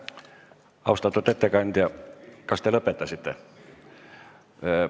Austatud ettekandja, kas te lõpetasite?